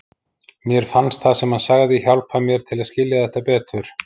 Mér fannst það sem hann sagði hjálpa mér til að skilja þetta betur.